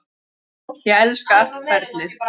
Ég elska allt ferlið.